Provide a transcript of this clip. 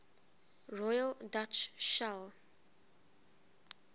royal dutch shell